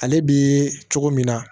Ale bi cogo min na